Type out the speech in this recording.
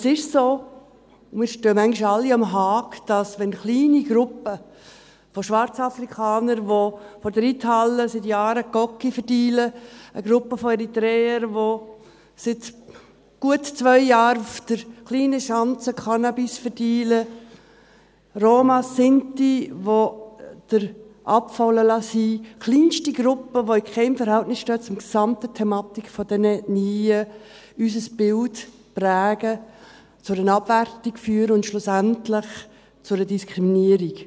Es ist so, wir stehen manchmal alle am Haag, wenn kleine Gruppen von Schwarzafrikanern, die vor der Reithalle seit Jahren mit Koks dealen, eine Gruppe von Eritreern, die seit gut zwei Jahren auf der kleinen Schanze mit Cannabis dealen, Romas, Sinti, die Abfall liegen lassen, kleinste Gruppen, die in keinem Verhältnis zur gesamten Thematik dieser Ethnien stehen, unser Bild prägen, zu einer Abwertung führen und schlussendlich zu einer Diskriminierung.